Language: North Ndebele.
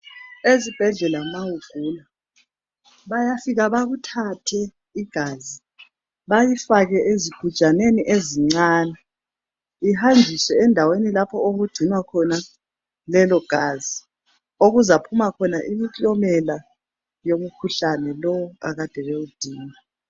Ezibhedlela ma ugula bayafika bekuthathe igazi balifake ezigujaneni ezincani lihanjiswe endaweni lapho okugcinwa khona lelogazi okuzaphuma khona imiklomela yemikhuhlane lo akade bewudinga.